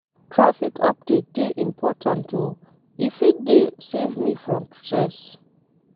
Traffic update dey important o, e fit dey save me from stress.